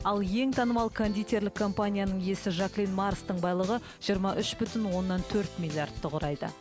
ал ең танымал кондитерлік компанияның иесі жаклин марстың байлығы жиырма үш бүтін оннан төрт миллиардты құрайды